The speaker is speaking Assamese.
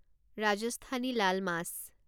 ৰাজস্থানী লাল মাছ